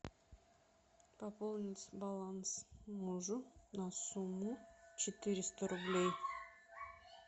пополнить баланс мужу на сумму четыреста рублей